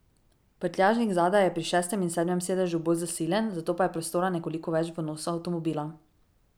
Prtljažnik zadaj je pri šestem in sedmem sedežu bolj zasilen, zato pa je prostora nekoliko več v nosu avtomobila.